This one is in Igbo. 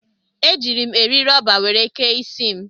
Ejiiri m eri rọba were kee isi m.